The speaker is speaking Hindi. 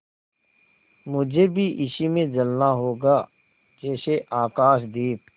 मुझे भी इसी में जलना होगा जैसे आकाशदीप